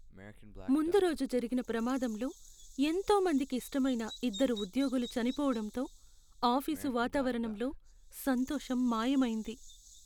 ముందు రోజు జరిగిన ప్రమాదంలో ఎంతో మందికి ఇష్టమైన ఇద్దరు ఉద్యోగులు చనిపోవడంతో ఆఫీసు వాతావరణంలో సంతోషం మాయమైంది.